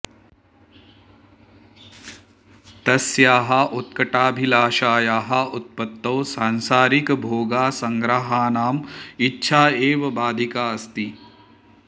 तस्याः उत्कटाभिलाषायाः उत्पतौ सांसारिकभोगासङ्ग्रहाणाम् इच्छा एव बाधिका अस्ति